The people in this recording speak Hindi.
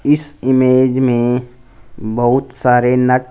इस इमेज में बहोत सारे न--